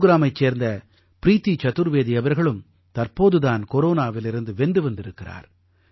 குருக்ராமைச் சேர்ந்த ப்ரீதி சதுர்வேதி அவர்களும் தற்போது தான் கொரோனாவிலிருந்து வென்று வந்திருக்கிறார்